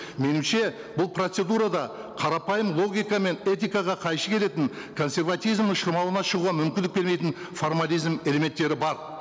меніңше бұл процедура да қарапайым логика мен этикаға қайшы келетін консерватизм ішкі шығуға мүмкіндік бермейтін формализм элементтері бар